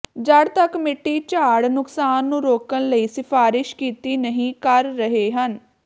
ਜੜ੍ਹ ਤੱਕ ਮਿੱਟੀ ਝਾੜ ਨੁਕਸਾਨ ਨੂੰ ਰੋਕਣ ਲਈ ਸਿਫਾਰਸ਼ ਕੀਤੀ ਨਹੀ ਕਰ ਰਹੇ ਹਨ